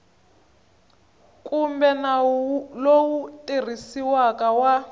kumbe nawu lowu tirhisiwaka wa